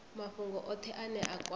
mafhungo othe ane a kwama